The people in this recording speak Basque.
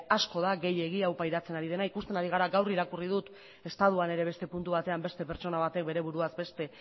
asko da gehiegi hau pairatzen ari dena ikusten ari gara gaur irakurri dut estatuan ere beste puntu batean beste pertsona batek bere buruaz beste